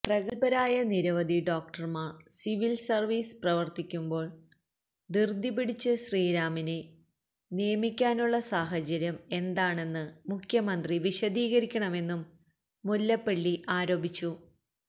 പ്രഗല്ഭരായ നിരവധി ഡോക്ടര്മാര് സിവില് സര്വീസില് പ്രവര്ത്തിക്കുമ്പോള് ധൃതിപിടിച്ച് ശ്രീറാമിനെ നിയമിക്കാനുള്ള സാഹചര്യം എന്താണെന്ന് മുഖ്യമന്ത്രി വിശദീകരിക്കണമെന്നും മുല്ലപ്പള്ളി ആരോപിച്ചു